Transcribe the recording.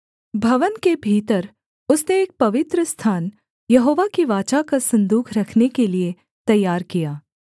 भवन के भीतर उसने एक पवित्रस्थान यहोवा की वाचा का सन्दूक रखने के लिये तैयार किया